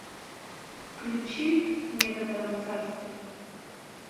включи в некотором царстве